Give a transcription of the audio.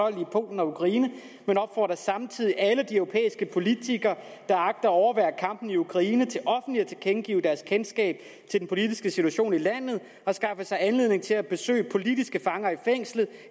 i polen og ukraine men opfordrer samtidig alle de europæiske politikere der agter at overvære kampene i ukraine til offentligt at tilkendegive deres kendskab til den politiske situation i landet og skaffe sig anledning til at besøge politiske fanger i fængslet